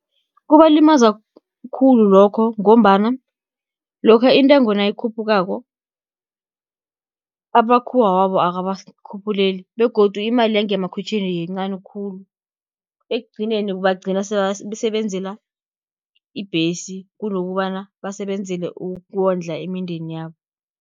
Kubalimaza khulu lokho, ngombana lokha intengo nayikhuphukako, abamakhuwa wabo akabakhuphuleli, begodu imali yangemakhwitjhini yincani khulu. Ekugcineni bagcina sebasebenzela ibhesi, kunokobana basebenzele ukondla imindeni yabo.